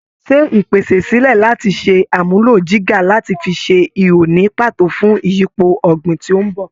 Ṣe ìpèsè sílẹ̀ láti ṣe àmúlò jígà láti fi ṣe ihò ní pàtó fún ìyípo ọ̀gbìn tí ó ń bò.